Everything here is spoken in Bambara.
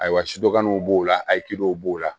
Ayiwa sudanw b'o la akidow b'o la